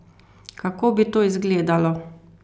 Kako bi to izgledalo?